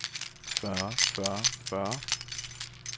fyrre fyrre fyrre